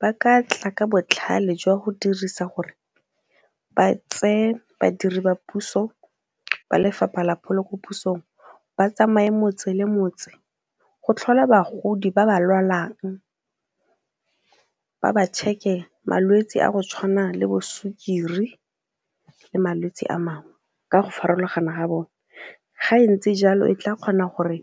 ba ka tla ka botlhale jwa go dirisa gore ba tseye badiri ba puso ba lefapha la pholo ko pusong ba tsamaye motse le motse go tlhola bagodi ba ba lwalang ba ba check-e malwetse a go tshwana le bo sukiri le malwetsi a mangwe ka go farologana ga bone. Ga e ntsi jalo e tla kgona gore